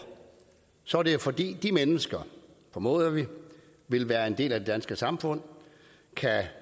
så er det jo fordi de mennesker formoder vi vil være en del af det danske samfund kan